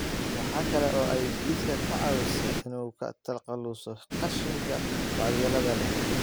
Waxa kale oo ay jidhka ka caawisaa in uu ka takhaluso qashinka waxyeelada leh.